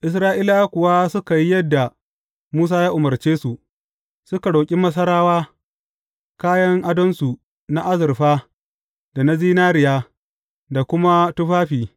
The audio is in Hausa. Isra’ilawa kuwa suka yi yadda Musa ya umarce su, suka roƙi Masarawa kayan adonsu na azurfa da na zinariya, da kuma tufafi.